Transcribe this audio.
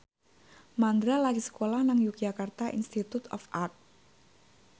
Mandra lagi sekolah nang Yogyakarta Institute of Art